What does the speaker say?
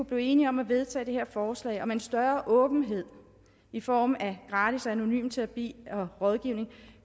blive enige om at vedtage det her forslag om en større åbenhed i form af gratis og anonym terapi og rådgivning